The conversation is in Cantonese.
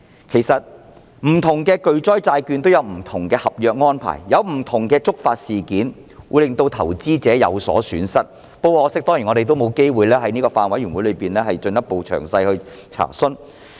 其實不同的巨災債券也有不同的合約安排，以及令投資者有所損失的觸發事件，但很可惜我們沒有機會在法案委員會上作進一步詳細查詢。